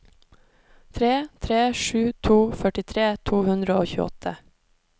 tre tre sju to førtitre to hundre og tjueåtte